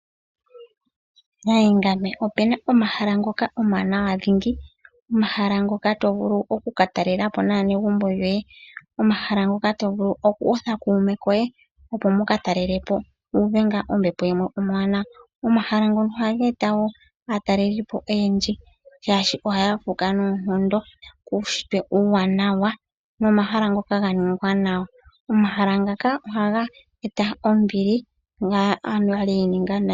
Opena omahala ngoka omawanawa dhingi omahala ngoka tovulu oku katalelapo naanegumbo yoye. Omahala ngoka tovulu oku kutha kuume koye opo wuka talelepo wu uve ngaa ombepo yilwe. Omahala ngono ohaga eta woo aatalelipo oyendji oshoka ohaya fuuka noonkondo kuushitwe uuwanawa. Omahala ngaka ohaga eta ombili kaantu mbono yi ininga nayi.